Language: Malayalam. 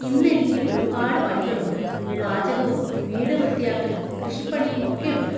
ഇന്നെനിക്ക് ഒരുപാട് പണികളുണ്ട്-പാചകവും വീട് വൃത്തിയാക്കലും കൃഷിപ്പണിയുമൊക്കെയുണ്ട്.